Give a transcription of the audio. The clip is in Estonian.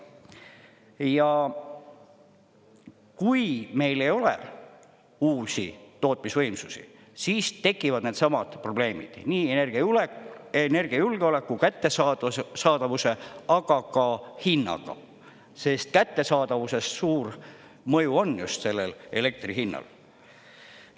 Ja kui meil ei ole uusi tootmisvõimsusi, siis tekivad needsamad probleemid: nii energiajulgeoleku kättesaadavuse, aga ka hinnaga, sest kättesaadavusest suur mõju on just sellel elektri hinnal.